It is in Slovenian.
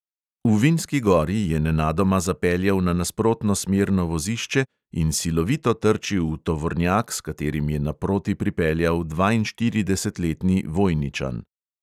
V vinski gori je nenadoma zapeljal na nasprotno smerno vozišče in silovito trčil v tovornjak, s katerim je naproti pripeljal dvainštiridesetletni vojničan.